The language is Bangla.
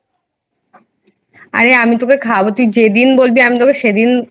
আমি তোকে খাওয়াবো তুই যেদিন বলবি আমি তোকে সেদিন